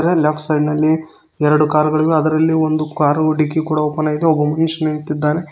ಅದರ left side ನಲ್ಲಿ ಎರಡು ಕಾರುಗಳಿವೆ ಅದರಲ್ಲಿ ಒಂದು ಕಾರು ಡಿಕ್ಕಿ ಕೂಡ ಓಪನ್ ಆಗಿದೆ ಒಬ್ಬ ಮನುಷ್ಯ ನಿಂತಿದ್ದಾನೆ.